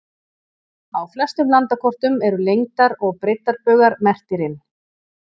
Á flestum landakortum eru lengdar- og breiddarbaugar merktir inn.